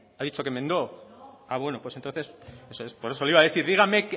ha dicho que enmendó ah bueno pues entonces eso es por eso le iba a decir dígame